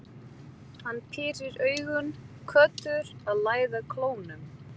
Hann pírir augun, köttur að læða klónum.